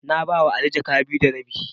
Na ba wa Ali jaka biyu da rabi.